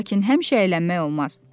Lakin həmişə əylənmək olmaz.